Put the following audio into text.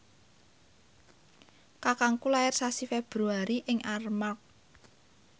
kakangku lair sasi Februari ing Armargh